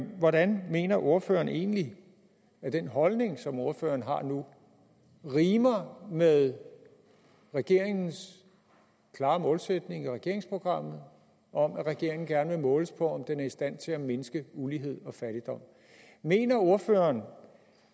hvordan mener ordføreren egentlig at den holdning som ordføreren har nu rimer med regeringens klare målsætning i regeringsprogrammet om at regeringen gerne vil måles på om den er i stand til at mindske ulighed og fattigdom mener ordføreren